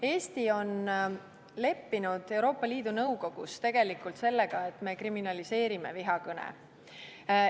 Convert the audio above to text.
Eesti on leppinud Euroopa Liidu Nõukogus tegelikult sellega, et me kriminaliseerime vihakõne.